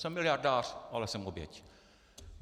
Jsem miliardář, ale jsem oběť.